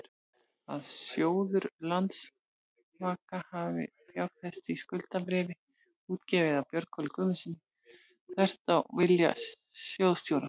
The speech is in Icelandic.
að sjóður Landsvaka hafi fjárfest í skuldabréfi útgefnu af Björgólfi Guðmundssyni, þvert á vilja sjóðsstjóra?